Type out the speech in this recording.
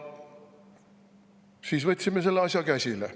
Siis me võtsime selle asja käsile.